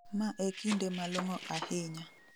Ma e kinde malong'o ahinya